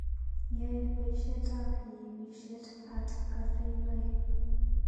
Yoe boishetab iipishet artcafeinoe